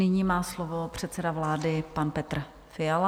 Nyní má slovo předseda vlády pan Petr Fiala.